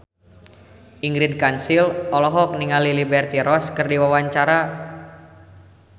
Ingrid Kansil olohok ningali Liberty Ross keur diwawancara